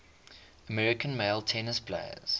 american male tennis players